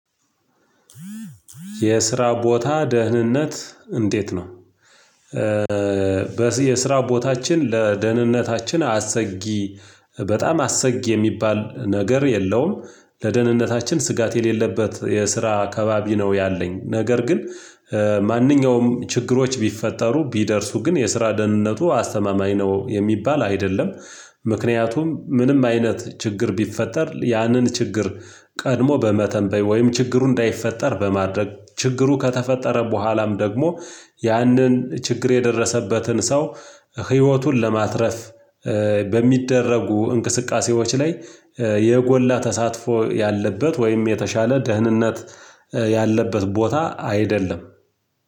የስራ ቦታ ደህንነት እንዴት ነው? የስራ ቦታችን ለደህንነታችን አሰጊ በጣም አሰጊ የሚባል ነገር የለውም። ለደህንነታችን ስጋት የሌለበት የስራ አካባቢ ነው ያለኝ ነገር ግን። ማንኛውም ችግሮች ቢፈጠሩ ቢደርሱ ግን የስራ ደህንነቱ አስተማማኝ ነው የሚባል አይደለም። ምክንያቱም ምንም አይነት ችግር ቢፈጠር ያንን ችግር ቀድሞ በመተንበይ ወይም ችግሩ እንዳይፈጠር በማድረግ ችግሩ ከተፈጠረ በኋላም ደግሞ ያንን ችግር የደረሰበትን ሰው ህይወቱን ለማትረፍ በሚደረጉ እንቅስቃሴዎች ላይ የጎላ ተሳትፎ ያለበት ወይም የተሻለ ደህንነት ያለበት ቦታ አይደለም።